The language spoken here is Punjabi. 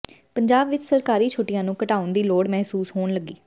ਪੰਜਾਬ ਵਿਚ ਸਰਕਾਰੀ ਛੁੱਟੀਆਂ ਨੂੰ ਘਟਾਉਣ ਦੀ ਲੋੜ ਮਹਿਸੂਸ ਹੋਣ ਲੱਗੀ